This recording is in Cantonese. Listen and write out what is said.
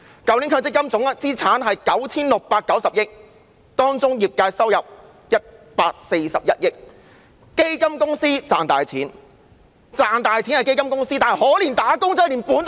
去年強積金總資產是 9,690 億元，當中業界收入是141億元，基金公司賺大錢，但可憐"打工仔"連本金也要虧蝕。